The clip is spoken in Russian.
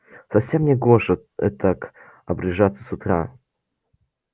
совсем негоже этак обряжаться с утра